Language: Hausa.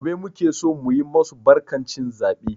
Gobe muke so mu yi masu barkan cin zabe.